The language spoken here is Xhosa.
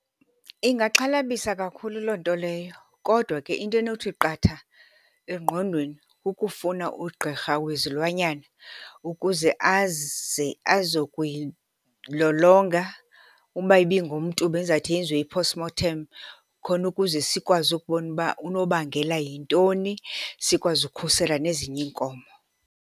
Ingaxhalabisa kakhulu loo nto leyo kodwa ke into enothi qatha engqondweni kukufuna ugqirha wezilwanyana ukuze aze azokoyilolonga. Uba ibingumntu bendizawuthi yenziwe i-post mortem khona ukuze sikwazi ukubona uba unobangela yintoni sikwazi ukhusela nezinye iinkomo.